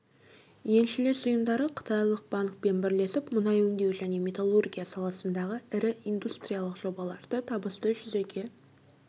еншілес ұйымдары қытайлық банкпен бірлесіп мұнай өңдеу және металлургия саласындағы ірі индустриялық жобаларды табысты жүзеге